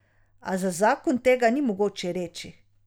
A za zakon tega ni mogoče reči.